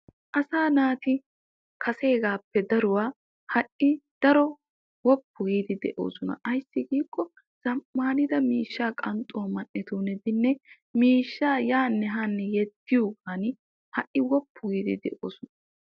Asaa naati kaseegappe daruwa ha'i daro woppu giidi de'oosonna ayssi zamaanidda miishsha qanxxuwa ogetinne miishsha ayaanne haanne yediyooban ha'i woppu giidi de'osonna.